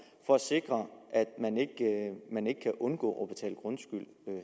for at sikre at man ikke kan undgå